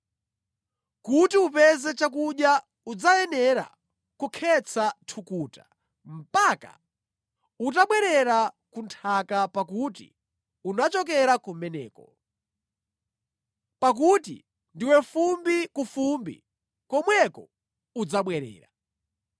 Kuti upeze chakudya udzayenera kukhetsa thukuta, mpaka utabwerera ku nthaka pakuti unachokera kumeneko; pakuti ndiwe fumbi ku fumbi komweko udzabwerera.”